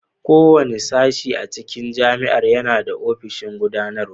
Kowane sashe a cikin Jami'ar yana da ofishin Gudanarwa.